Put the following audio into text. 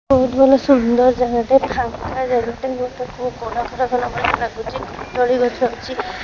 ବହୁତ୍ ଭଲ ସୁନ୍ଦର ଜାଗାଟେ ଫାଙ୍କା ଜାଗାଟେ ଭଳିଆ ଲାଗୁଚି ଦୋଳି ଗଛ ଅଛି।